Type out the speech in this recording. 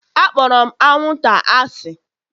Akpọrọ m anwụnta asị